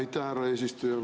Aitäh, härra eesistuja!